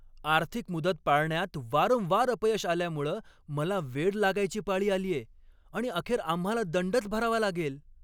आर्थिक मुदत पाळण्यात वारंवार अपयश आल्यामुळं मला वेड लागायची पाळी आलीये आणि अखेर आम्हाला दंडच भरावा लागेल.